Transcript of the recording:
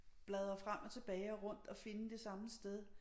Bladre frem og tilbage og rundt og finde det samme sted